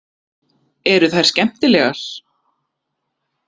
Eru þær skemmtilegar